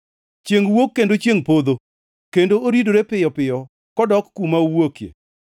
Chiengʼ wuok kendo chiengʼ podho, kendo oridore piyo piyo kodok kuma owuokie.